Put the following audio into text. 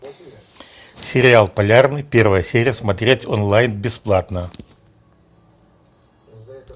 сериал полярный первая серия смотреть онлайн бесплатно